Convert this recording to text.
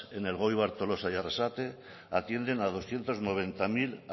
en elgoibar tolosa y arrasate atienden a doscientos noventa mil